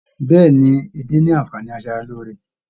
Bẹẹni, edé ní anfààní asaraloore.